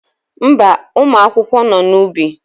Mba, ụmụ akwụkwọ nọ n'ubi.